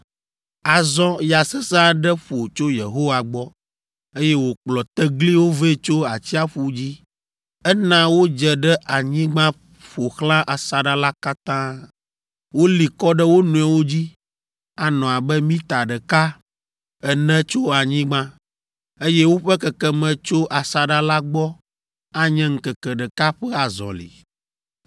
Azɔ ya sesẽ aɖe ƒo tso Yehowa gbɔ, eye wòkplɔ tegliwo vɛ tso atsiaƒu dzi. Ena wodze ɖe anyigba ƒo xlã asaɖa la katã. Woli kɔ ɖe wo nɔewo dzi, anɔ abe mita ɖeka ene tso anyigba, eye woƒe kekeme tso asaɖa la gbɔ anye ŋkeke ɖeka ƒe azɔli.